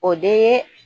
O de ye